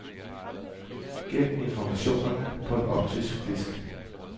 Gem informationerne på en optisk disk.